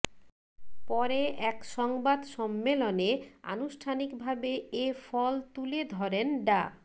পরে এক সংবাদ সম্মেলনে আনুষ্ঠানিকভাবে এ ফল তুলে ধরেন ডা